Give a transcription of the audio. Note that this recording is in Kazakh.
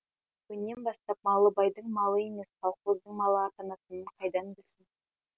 бүгіннен бастап малыбайдың малы емес колхоздың малы атанатынын қайдан білсін